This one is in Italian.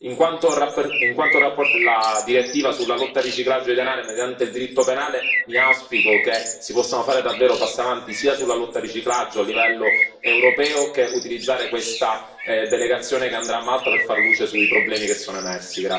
In quanto relatore della direttiva sulla lotta al riciclaggio di denaro mediante il diritto penale, mi auspico che si possano fare davvero passi avanti sia sulla lotta al riciclaggio a livello europeo sia nell'utilizzare questa delegazione che andrà a Malta per far luce sui problemi che sono emersi.